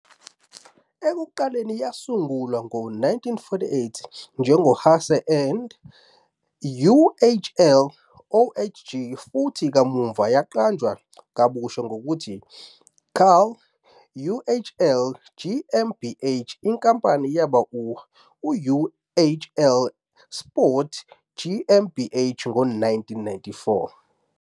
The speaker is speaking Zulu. Ekuqaleni yasungulwa ngo-1948 njengo- "Haase and Uhl OHG" futhi kamuva yaqanjwa kabusha ngokuthi "Karl Uhl GmbH", inkampani yaba "uhlsport GmbH" ngo-1994.